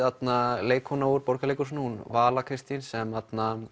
leikkona úr Borgarleikhúsinu Vala Kristín sem